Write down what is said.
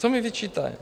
Co mi vyčítá?